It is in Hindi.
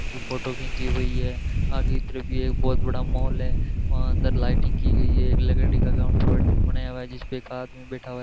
इनकी फोटो घिंची हुई है आगे की तरफ भी है एक बहुत बड़ा मॉल है वहां अंदर लाइटिंग की गई है एक लकड़ी का काउंटर बै बनाया हुआ जिस पे एक आदमी बैठा हुआ है।